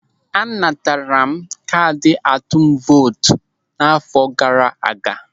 A natara m kaadị atụm vootu m n'àfọ́ gaara aga.